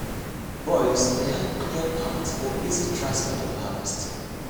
boys dey help clear path for easy transport of harvest.